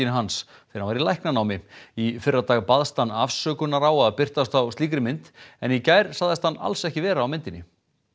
hans þegar hann var í læknanámi í fyrradag baðst hann afsökunar á að birtast á slíkri mynd en í gær sagðist hann alls ekki vera á myndinni